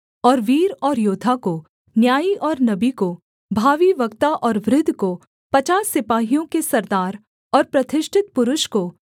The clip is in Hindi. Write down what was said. और वीर और योद्धा को न्यायी और नबी को भावी वक्ता और वृद्ध को पचास सिपाहियों के सरदार और प्रतिष्ठित पुरुष को